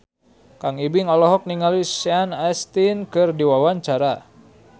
Kang Ibing olohok ningali Sean Astin keur diwawancara